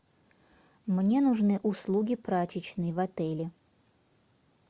мне нужны услуги прачечной в отеле